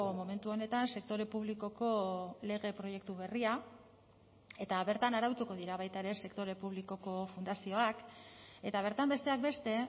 momentu honetan sektore publikoko lege proiektu berria eta bertan arautuko dira baita ere sektore publikoko fundazioak eta bertan besteak beste